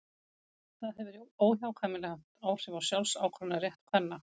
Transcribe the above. það hefur óhjákvæmilega haft áhrif á sjálfsákvörðunarrétt kvenna